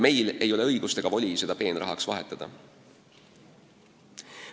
Meil ei ole õigust ega voli seda peenrahaks vahetada.